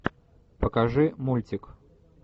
покажи мультик